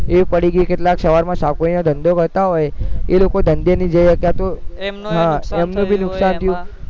એ પડી ગઈ કેટલાક ધંધો કરતા હોય એ લોકો ધંધેની જેમ અત્યારે તો એમનું જે નુકસાન થયું